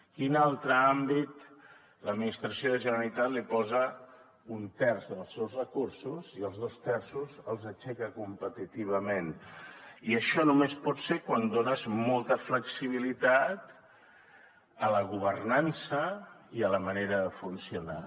a quin altre àmbit l’administració de la generalitat li posa un terç dels seus recursos i els dos terços els aixeca competitivament i això només pot ser quan dones molta flexibilitat a la governança i a la manera de funcionar